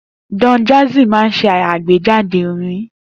Don Jazzy máa ń ṣe àgbéjáde orin